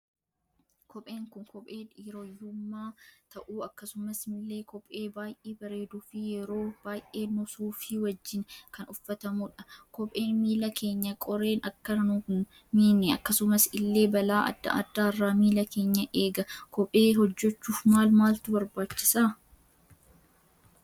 Kopheen Kun kophee dhiiroyyommu ta'u akkasumas ille kophee baay'ee bareeduufii yeroo baay'ee suufii wajjin kan uffatamudha. Kopheen miila Kenya qoreen Akka nun miine akkasumas illee balaa adda addaarra miila keenya eega. kophee hojjechuuf maal maaltu barbaachisa?